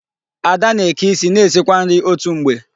Ada na-eke isi na esikwa nri otu mgbe.